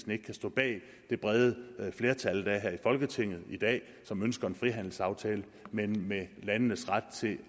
ikke kan stå bag det brede flertal der er her i folketinget i dag som ønsker en frihandelsaftale men med landenes ret til at